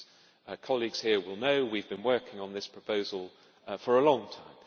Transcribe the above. As colleagues here will know, we have been working on this proposal for a long time.